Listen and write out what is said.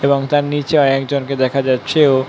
এবং তার নিচে একজন কে দেখা যাচ্ছে ও--